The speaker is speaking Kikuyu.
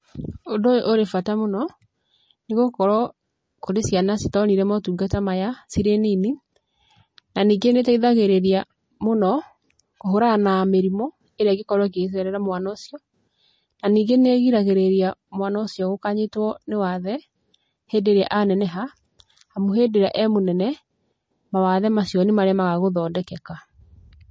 Ũndũ ũyũ ũrĩ bata mũno, nĩgũkorũo, kũrĩ ciana citonire motungata maya, cirĩ nini, naningĩ nĩiteithagĩrĩria, mũno, kũhũrana na mĩrimũ ĩrĩa ĩkoragũo ĩkĩhaicĩrĩra mwana ũcio, na ningĩ nĩrigagĩrĩria mwana ũcio gũkanyitũo nĩ wathe, hĩndĩ ĩrĩa aneneha, amu hĩndĩrĩa emũnene, mawathe macio nĩmaremaga gũthondekeka.